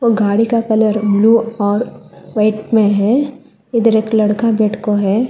गाड़ी का colour blue और व्हाइट में है इधर एक लड़का बैठ को है।